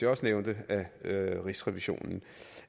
også nævnte af rigsrevisionen